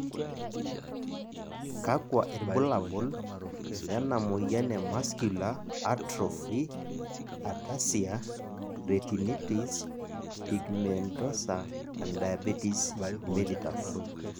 kakua irbulabol lena moyian e Muscular atrophy ataxia retinitis pigmentosa and diabetes mellitus?